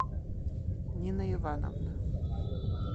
нина ивановна